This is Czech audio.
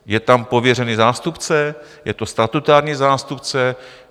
Je tam pověřený zástupce, je to statutární zástupce.